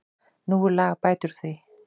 Nú er lag að bæta úr því.